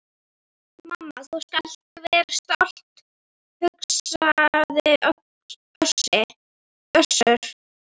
Mamma, þú skalt vera stolt, hugsaði Össur.